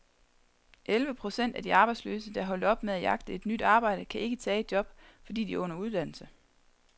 Elleve procent af de arbejdsløse, der er holdt op med at jagte et nyt arbejde, kan ikke tage et job, fordi de er under uddannelse.